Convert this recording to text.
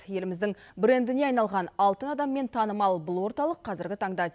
еліміздің брендіне айналған алтын адаммен танымал бұл орталық қазіргі таңда